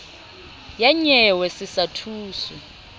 ya nyewe se sa thuswe